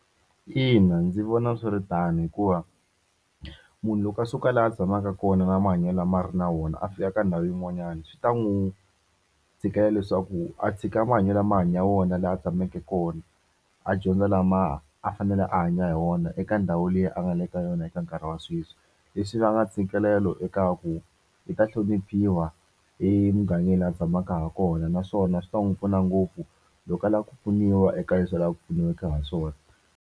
Ina ndzi vona swi ri tano hikuva munhu loko a suka laha a tshamaka kona na mahanyelo ma ri na wona a fika ka ndhawu yin'wanyana swi ta n'wi tikela leswaku a tshika mahanyelo kama a hanya wona laha a tshamaka kona a dyondza lama a fanele a hanya hi wona eka ndhawu liya a nga le ka yona eka nkarhi wa sweswi leswi va nga ntsikelelo eka ku i ta hloniphiwa emugangeni a tshamaka ha kona naswona swi ta n'wi pfuna ngopfu loko a lava ku pfuniwa eka leswi a lavaka ku pfuniwaka ha swona.